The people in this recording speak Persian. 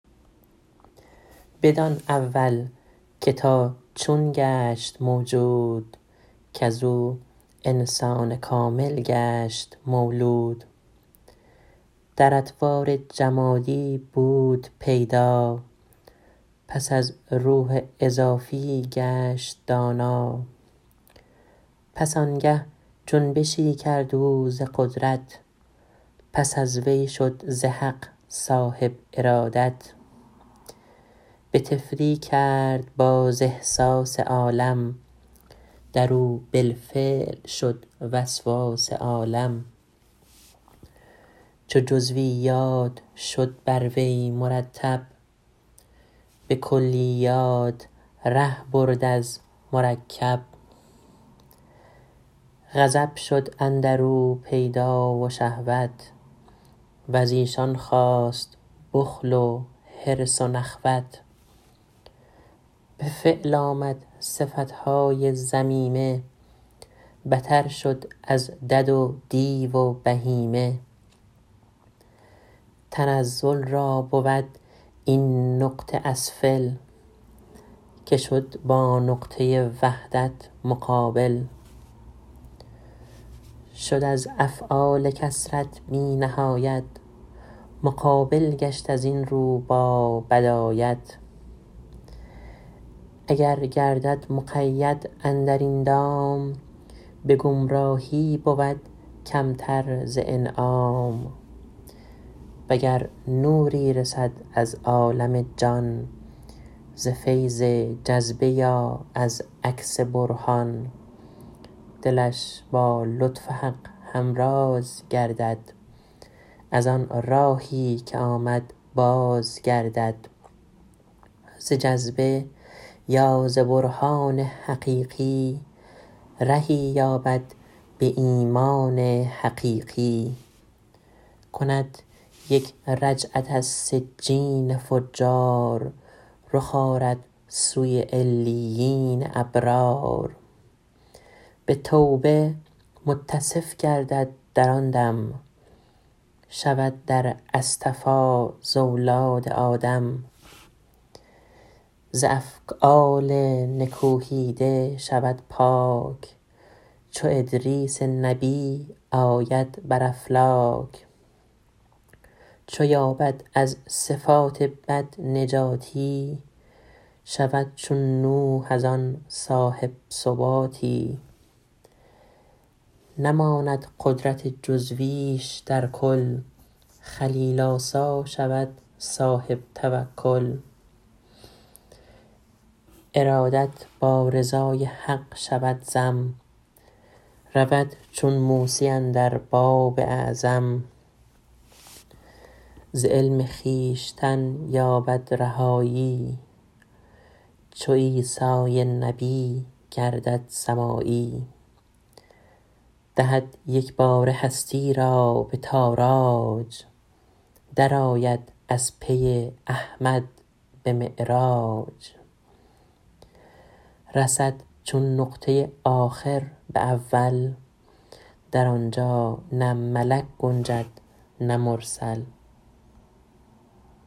بدان اول که تا چون گشت موجود کز او انسان کامل گشت مولود در اطوار جمادی بود پیدا پس از روح اضافی گشت دانا پس آنگه جنبشی کرد او ز قدرت پس از وی شد ز حق صاحب ارادت به طفلی کرد باز احساس عالم در او بالفعل شد وسواس عالم چو جزویات شد بر وی مرتب به کلیات ره برد از مرکب غضب شد اندر او پیدا و شهوت وز ایشان خاست بخل و حرص و نخوت به فعل آمد صفتهای ذمیمه بتر شد از دد و دیو و بهیمه تنزل را بود این نقطه اسفل که شد با نقطه وحدت مقابل شد از افعال کثرت بی نهایت مقابل گشت از این رو با بدایت اگر گردد مقید اندر این دام به گمراهی بود کمتر ز انعام و گر نوری رسد از عالم جان ز فیض جذبه یا از عکس برهان دلش با نور حق همراز گردد از آن راهی که آمد باز گردد ز جذبه یا ز برهان یقینی رهی یابد به ایمان یقینی کند یک رجعت از سجین فجار رخ آرد سوی علیین ابرار به توبه متصف گردد در آن دم شود در اصطفا ز اولاد آدم ز افعال نکوهیده شود پاک چو ادریس نبی آید بر افلاک چو یابد از صفات بد نجاتی شود چون نوح از آن صاحب ثباتی نماند قدرت جزویش در کل خلیل آسا شود صاحب توکل ارادت با رضای حق شود ضم رود چون موسی اندر باب اعظم ز علم خویشتن یابد رهایی چو عیسی نبی گردد سمایی دهد یکباره هستی را به تاراج درآید از پی احمد به معراج رسد چون نقطه آخر به اول در آنجا نه ملک گنجد نه مرسل